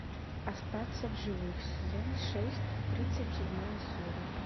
остаться в живых сезон шесть тридцать седьмая серия